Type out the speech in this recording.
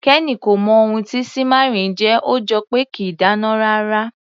Kenny kò mọ ohun tí simmering jẹ́, ó jọ pé kìí dáná rárá.